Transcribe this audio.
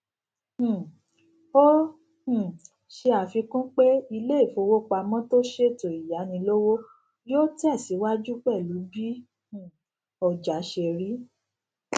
um ó um ṣe àfikún pé ilé ìfowópamó tó ṣètò ìyánilówó yóò tèsíwájú pèlú bí um ọjà ṣe rí